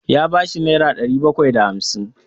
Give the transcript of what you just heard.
Ya ba shi nera ɗari bakwai da hamsin.